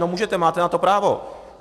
No, můžete, máte na to právo.